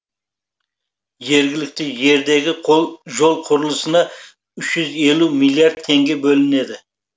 жергілікті жердегі жол құрылысына үш жүз елу миллиард теңге бөлінеді